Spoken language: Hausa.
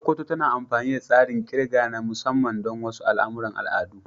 Sokoto tana amfani da tsarin ƙirga na musamman don wasu al'amuran al'adu.